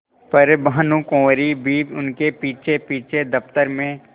पर भानुकुँवरि भी उनके पीछेपीछे दफ्तर में